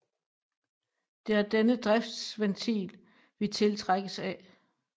Det er denne driftsventil vi tiltrækkes af